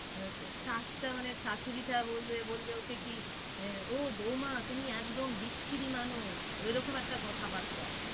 মানে শাশুড়িটা বলবে, বলবে ওকে কি আহ ও বউমা তুমি একদম বিচ্ছিরি মানুষ ওই রকম একটা কথা বার্তা।